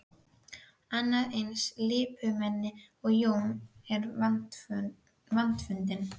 Annað eins lipurmenni og Jón er vandfundið.